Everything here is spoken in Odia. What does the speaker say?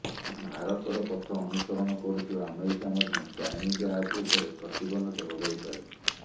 ଭାରତର ପଥ ଅନୁସରଣ କରୁଥିବା ଆମେରିକା ମଧ୍ୟ ଚାଇନିଜ୍ ଆପ୍ ଉପରେ ପ୍ରତିବନ୍ଧକ ଲଗାଇପାରେ